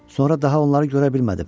Sonra daha onları görə bilmədim.